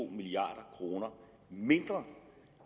milliard kroner mindre